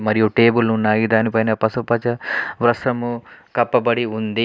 మరియు టేబుళ్ళు ఉన్నాయి. దానిపైన పసుపు పచ్చ వ్రస్త్రము కప్పబడి ఉంది.